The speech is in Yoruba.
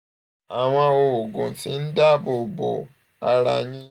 àwọn oògùn tí ń dáàbò bo um ara yín